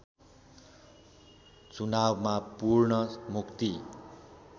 चुनावमा पूर्ण मुक्ति